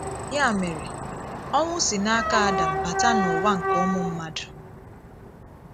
Ya mére, ọnwụ́ sí n’aka Adam “ bàtà” n’ụ̀wà nke ụmụ mmadụ.